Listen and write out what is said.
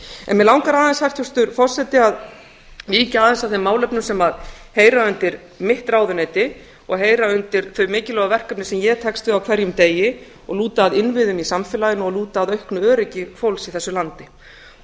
en mig langar hæstvirtur forseti að víkja aðeins að þeim málefnum sem heyra undir mitt ráðuneyti og heyra undir þeim mikilvægu verkefnum sem ég tekst við á hverjum degi og lúta að innviðum í samfélaginu og lúta að auknu öryggi fólks í þessu landi þar eru